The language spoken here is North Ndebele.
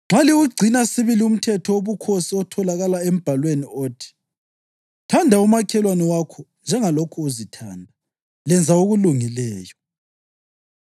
Nxa liwugcina sibili umthetho wobukhosi otholakala eMbhalweni othi, “Thanda umakhelwane wakho njengalokhu uzithanda,” + 2.8 ULevi 19.18 lenza okulungileyo.